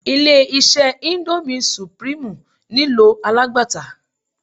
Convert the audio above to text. Ilé-iṣẹ́ índómì sùprímù nílò alágbàtà.